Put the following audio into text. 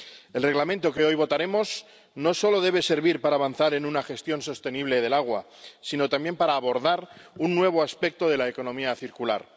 El Reglamento que hoy votaremos no solo debe servir para avanzar en una gestión sostenible del agua, sino también para abordar un nuevo aspecto de la economía circular.